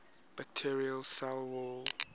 bacterial cell wall